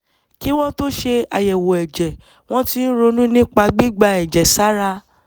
kí wọ́n tó ṣe àyẹ̀wò ẹ̀jẹ̀ wọ́n ti ń ronú nípa gbígba ẹ̀jẹ̀ sára